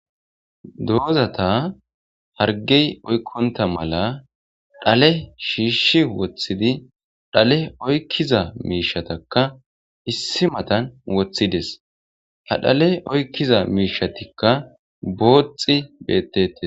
Dozata harigeyi oyiqonitta malla dhale shishi wothidi dhale oyikiza mishataka issi mattani wothidezi. Ha dhaleyi oyikida mishazika boxxi betetesi.